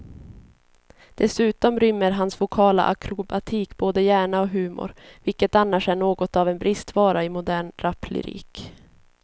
Dessutom rymmer hans vokala akrobatik både hjärna och humor, vilket annars är något av en bristvara i modern raplyrik.